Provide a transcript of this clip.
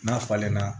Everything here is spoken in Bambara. N'a falenna